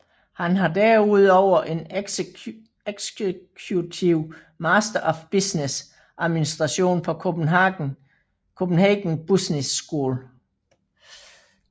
Han har derudover en Executive Master of Business Administration på Copenhagen Business School